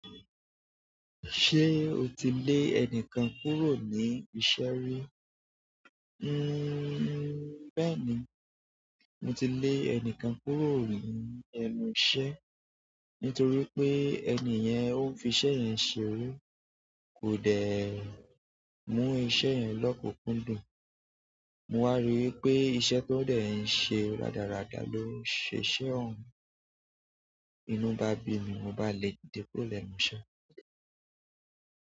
Ṣé o ti lé ẹnìkan kúrò ní iṣẹ́ rí? Bẹ́ẹ̀ni mo ti lé ẹnìkan kúrò ní ẹnu iṣẹ́ nítorí pé ẹni yẹn ó fi iṣẹ́ yẹn ṣeré, kò dẹ̀ mú iṣẹ́ yẹn lókunkúndùn. Mo wá rí i pé iṣẹ́ tó dẹ̀ ẹ ń ṣe rádaràda ló ṣe iṣẹ́ ọ̀hun. Inú bá bi mi mo bá lè kúrò lènu iṣẹ́.